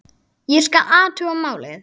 Ég skal athuga málið